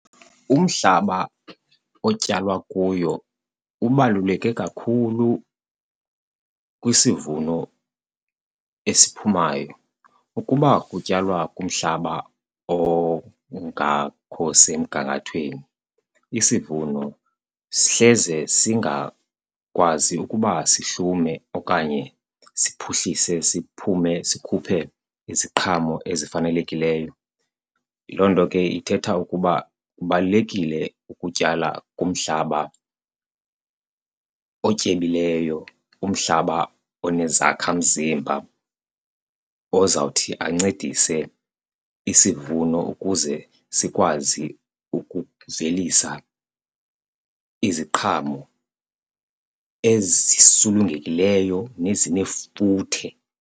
Umhlaba otyalwa kuyo ubaluleke kakhulu kwisivuno esiphumayo. Ukuba kutyalwa kumhlaba ongakho semgangathweni isivuno sihleze singakwazi ukuba sihlume okanye siphuhlise siphume sikhuphe iziqhamo ezifanelekileyo. Loo nto ke ithetha ukuba kubalulekile ukutyala kumhlaba otyebileyo, umhlaba onezakhamzimba ozawuthi ancedise isivuno ukuze sikwazi ukuvelisa iziqhamo ezisulungekileyo nezinefuthe.